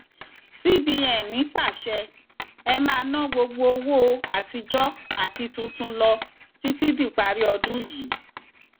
cbn pàṣẹ e máa ná gbogbo owó àtijọ àti tuntun lọ títí díparí ọdún yìí